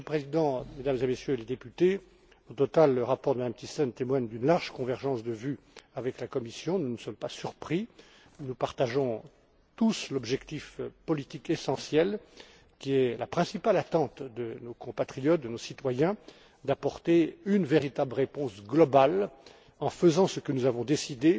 Monsieur le Président, Mesdames et Messieurs les députés, au total, le rapport de Mme Thyssen témoigne d'une large convergence de vues avec la Commission, ce dont nous ne sommes pas surpris. Nous partageons tous l'objectif politique essentiel qui est la principale attente de nos compatriotes, de nos citoyens d'apporter une véritable réponse globale aux crises actuelles en faisant ce que nous avons